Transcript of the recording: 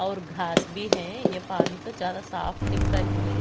और घास भी है। यह पानी का साफ दिख रही है।